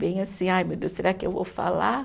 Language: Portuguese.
Bem assim, ai meu Deus, será que eu vou falar?